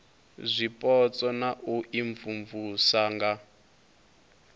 zwipotso na u imvumvusa nga